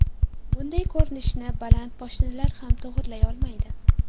Bunday ko‘rinishni baland poshnalar ham to‘g‘rilay olmaydi.